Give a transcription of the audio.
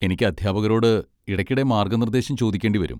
എനിക്ക് അധ്യാപകരോട് ഇടയ്ക്കിടെ മാർഗ്ഗ നിർദ്ദേശം ചോദിക്കേണ്ടി വരും.